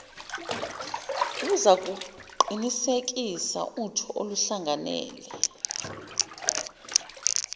luzakuqinisekisa utho oluhlangene